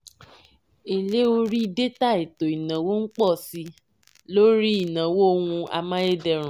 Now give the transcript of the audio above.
èlé orí détà ètò ìnáwó n pọ̀ sí i lórí ìnáwó ohun amáyédẹrùn.